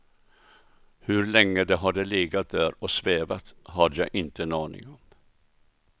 Hur länge det hade legat där och svävat hade jag inte en aning om.